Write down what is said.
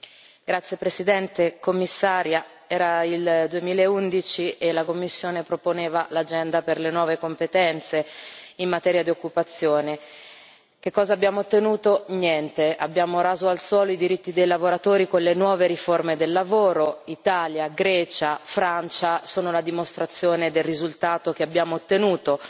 Signora Presidente, onorevoli colleghi, signora Commissario, era il 2011 e la Commissione proponeva l'Agenda per le nuove competenze in materia di occupazione. Che cosa abbiamo ottenuto? Niente. Abbiamo raso al suolo i diritti dei lavoratori con le nuove riforme del lavoro. Italia, Grecia e Francia sono la dimostrazione del risultato che abbiamo ottenuto.